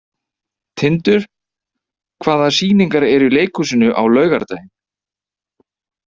Tindur, hvaða sýningar eru í leikhúsinu á laugardaginn?